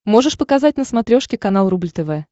можешь показать на смотрешке канал рубль тв